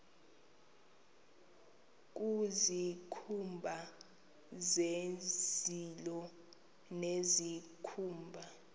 nezikhumba zezilo nezikhumba